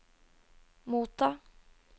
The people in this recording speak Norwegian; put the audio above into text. motta